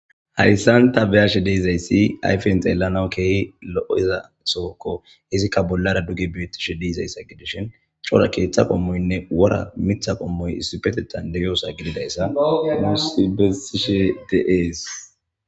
Hayssan tabeyshe dizzaysi ayfen xelanaw kehippe zoyzzassoko izzika bollara duge betishe dizayssa gidishin cora ketha qomoynne wora mitha qomoy issipetethan deyssa gididayssa nussi besishe de's.